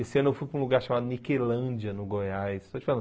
Esse ano eu fui para um lugar chamado Niquelândia, no Goiás. Estou te falando